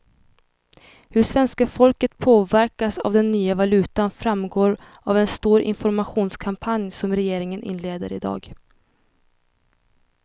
Hur svenska folket påverkas av den nya valutan framgår av en stor informationskampanj som regeringen inleder i dag.